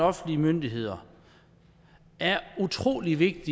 offentlige myndigheder er utrolig vigtigt